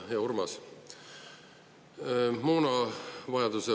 Hea Urmas!